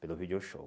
Pelo Video Show.